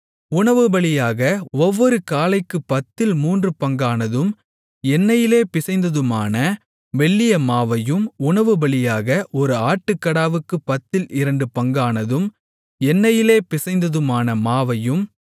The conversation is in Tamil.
உணவுபலியாக ஒவ்வொரு காளைக்குப் பத்தில் மூன்றுபங்கானதும் எண்ணெயிலே பிசைந்ததுமான மெல்லிய மாவையும் உணவுபலியாக ஒரு ஆட்டுக்கடாவுக்குப் பத்தில் இரண்டு பங்கானதும் எண்ணெயிலே பிசைந்ததுமான மாவையும்